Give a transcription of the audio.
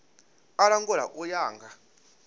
u langula u ya nga